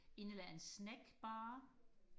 en eller anden snackbar